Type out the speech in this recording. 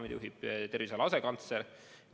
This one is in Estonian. Seda juhib terviseala asekantsler.